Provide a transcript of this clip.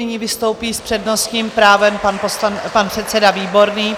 Nyní vystoupí s přednostním právem pan předseda Výborný.